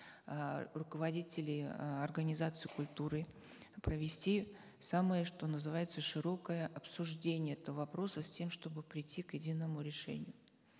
э руководителей э организаций культуры провести самое что называется широкое обсуждение этого вопроса с тем чтобы прийти к единому решению